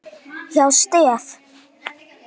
hjá STEF.